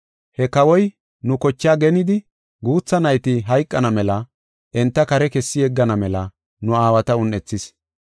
He kawoy nu kochaa genidi guutha nayti hayqana mela enta kare kessi yeggana mela nu aawata un7ethis.